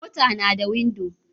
Mota nada windo